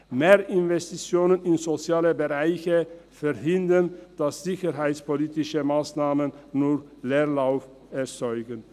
Mehr Investitionen in soziale Bereiche verhindern, dass sicherheitspolitische Massnahmen nur Leerlauf erzeugen.